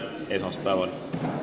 Kohtume esmaspäeval.